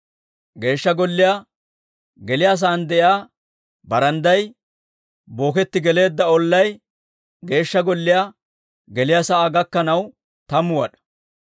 Geeshsha Golliyaa geliyaa sa'aan de'iyaa barandday booketti geleedda ollay Geeshsha Golliyaa gomppaa keeshshaa laatamu wad'aa; golliyaa gomppay Geeshsha Golliyaa geliyaa sa'aa gakkanaw tammu wad'aa.